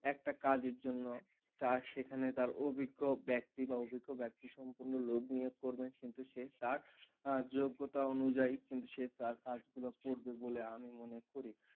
একটা কাজের জন্য তার সেখানে তার অভিজ্ঞ ব্যক্তি বা অভিজ্ঞ ব্যক্তি সম্পন্ন লোক নিয়োগ করবে কিন্তু সে তার যোগ্যতা অনুযায়ী কিন্তু সে তার কাজগুলো করবে বলে আমি মনে করি।